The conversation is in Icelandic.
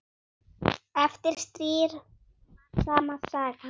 Eftir stríð var sama sagan.